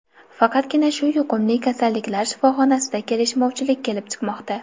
Faqatgina shu yuqumli kasalliklar shifoxonasida kelishmovchilik kelib chiqmoqda.